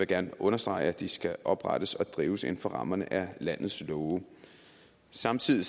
gerne understrege at de skal oprettes og drives inden for rammerne af landets love samtidig